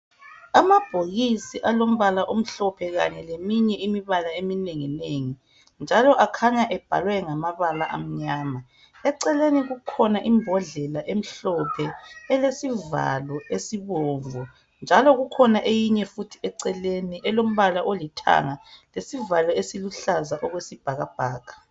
Amabhokisi alombala omhlophe kanye leminye imibala eminenginengi njalo akhanya ebhalwe ngamabala amnyama, eceleni kukhona imbhodlela emhlophe elesivalo esibomvu njalo kukhona eyinye futhi eceleni elombala olithanga lesivalo esiluhlaza okwesibhakabhaka.